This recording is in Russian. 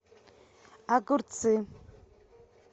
огурцы